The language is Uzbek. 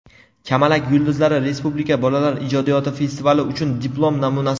"Kamalak yulduzlari" respublika bolalar ijodiyoti festivali uchun diplom namunasi.